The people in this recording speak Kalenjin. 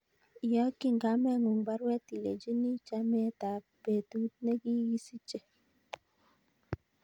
Iyokyin kamengung baruet ilenchini chametab petut negigisiche